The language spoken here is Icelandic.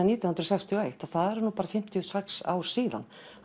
nítján hundruð sextíu og eitt og það eru bara fimmtíu og sex ár síðan